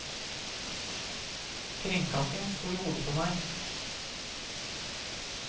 Kringkasting sto i hodet på meg.